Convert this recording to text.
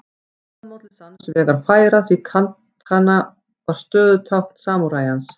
Það má til sanns vegar færa því katana var stöðutákn samúræjans.